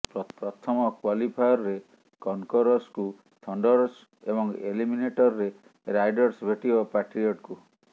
ପ୍ରଥମ କ୍ୱାଲିଫାୟାରରେ କନ୍କରର୍ସକୁ ଥଣ୍ଡରର୍ସ ଏବଂ ଏଲିମିନେଟରରେ ରାଇଡର୍ସ ଭେଟିବ ପାଟ୍ରିଅଟ୍ସକୁ